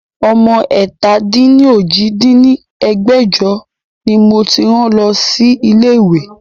Ọmọ ẹ̀ta-dín-ní-ojì dín ní ẹgbẹ́jọ ni mo ti rán lọ sí ilé ìwé